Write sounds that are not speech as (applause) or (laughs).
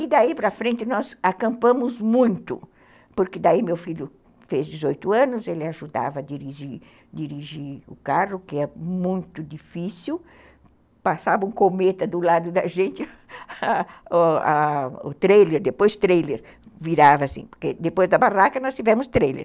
E daí para frente nós acampamos muito, porque daí meu filho fez dezoito anos, ele ajudava a dirigir dirigir o carro, que é muito difícil, passava um cometa do lado da gente, (laughs) o trailer, depois trailer, virava assim, porque depois da barraca nós tivemos trailer.